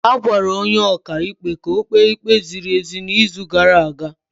A gwara onye ọka ikpe ka ọ kpee ikpe ziri ezi n'izu gara aga.